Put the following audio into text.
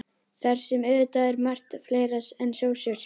Þar sem auðvitað er margt fleira en sósur.